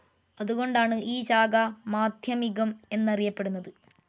അതുകൊണ്ടാണ് ഈ ശാഖ, മാദ്ധ്യമികം എന്നറിയപ്പെടുന്നത്.